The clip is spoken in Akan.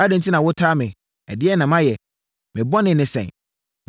Adɛn enti na wotaa me? Ɛdeɛn na mayɛ? Me bɔne ne sɛn?